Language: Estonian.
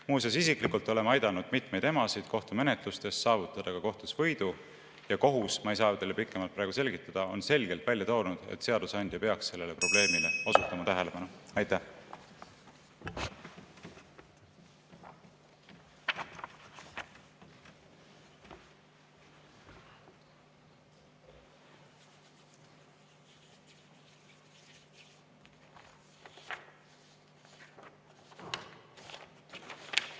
Muuseas, ma olen isiklikult aidanud mitmeid emasid kohtumenetluses saavutada kohtus võidu ja kohus – ma ei saa seda teile pikemalt selgitada – on selgelt välja toonud, et seadusandja peaks sellele probleemile tähelepanu osutama.